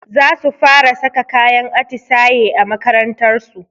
Zasu fara saka kayan atisaye a makarantarsu